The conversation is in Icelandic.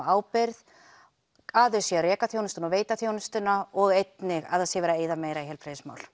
ábyrgð að þau reki þjónustuna veita þjónustuna og einnig að það sé verið að eyða meira í heilbrigðismál